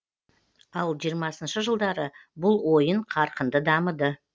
ал жиырмасыншы жылдары бұл ойын қарқынды дамыды